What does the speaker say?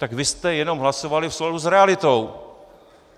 Tak vy jste jenom hlasovali v souladu s realitou.